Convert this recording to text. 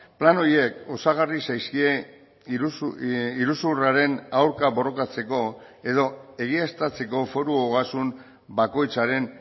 plan horiek osagarri zaizkie iruzurraren aurka borrokatzeko edo egiaztatzeko foru ogasun bakoitzaren